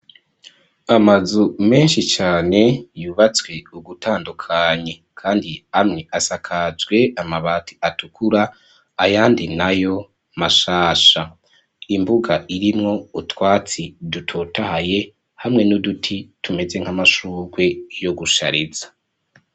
Amazu menshi cane yubatswe ugutandukanye, kandi amwe asakajwe amabati atukura ,ayandi nayo mashasha. Imbuga irimwo utwatsi dutotahaye, hamwe n'uduti tumeze nk'amashurwe yo gushariza.